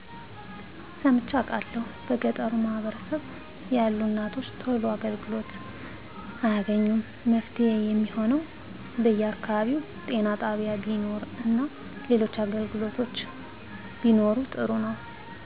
ሰምቸ አቃለሁ በገጠሩ ማህበረሰብ ያሉ እናቶች ቶሎ አገልግሎት አያገኙም መፍትሄ የሚሆነው በየ አከባቢው ጤና ጣቢያ ቢኖር እና ሌሎች አገልግሎቶች ቢኖሩ ጥሩ ነው